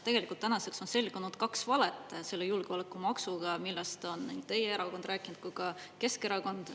Tegelikult tänaseks on selgunud kaks valet selle julgeolekumaksuga, millest on nii teie erakond rääkinud kui ka Keskerakond.